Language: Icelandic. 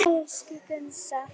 Elsku Gunnsa.